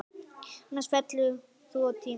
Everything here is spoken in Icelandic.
Annars fellur þú á tíma.